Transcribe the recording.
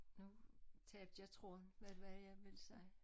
Nu tabte jeg tråden hvad var det jeg ville sige